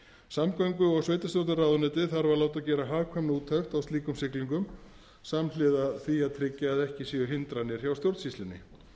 samgöngu og sveitarstjórnarráðuneytið þarf að láta gera hagkvæmniúttekt á slíkum siglingum samhliða því að tryggja að ekki séu hindranir hjá stjórnsýslunni